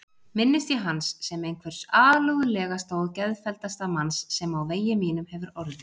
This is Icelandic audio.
Minnist ég hans sem einhvers alúðlegasta og geðfelldasta manns sem á vegi mínum hefur orðið.